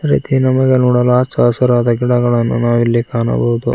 ರೀತಿ ನಮಗೆ ನೋಡಲು ಅಚ್ಚ ಹಸಿರಾದ ಗಿಡಗಳನ್ನು ನಾವಿಲ್ಲಿ ಕಾಣಬಹುದು.